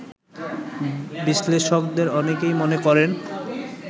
বিশ্লেষকদের অনেকেই মনে করেন